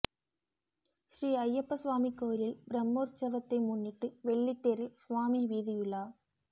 ஸ்ரீ ஐயப்ப சுவாமி கோயிலில் பிரம்மோற்சவத்தை முன்னிட்டு வெள்ளித்தேரில் சுவாமி வீதியுலா